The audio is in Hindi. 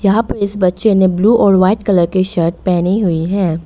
यहां पे इस बच्चे ने ब्लू और वाइट कलर की शर्ट पहनी हुई है।